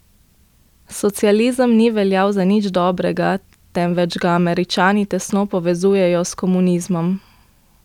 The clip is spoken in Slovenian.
Socializem ni veljal za nič dobrega, temveč ga Američani tesno povezujejo s komunizmom.